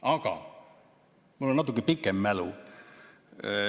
Aga mul on natuke pikem mälu.